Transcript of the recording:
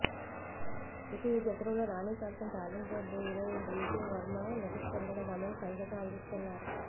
ఇక ఈ చిత్రంలో నాని సరసన టాలెంటెడ్ హీరోయిన్ రీతూ వర్మ నటిస్తుండగా థమన్ సంగీతం అందిస్తున్నారు